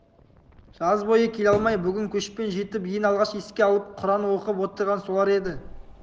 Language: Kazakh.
жаз бойы келе алмай бүгін көшпен жетіп ең алғаш еске алып құран оқып отырған солар еді